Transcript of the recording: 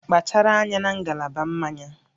Kpachara anya na ngalaba mmanya